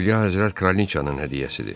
Üliya həzrət kraliçanın hədiyyəsidir.